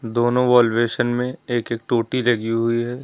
दोनों wall basin में एक एक टोटी लगी हुई है।